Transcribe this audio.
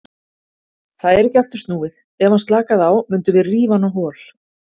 Það er ekki aftur snúið, ef hann slakaði á mundum við rífa hann á hol.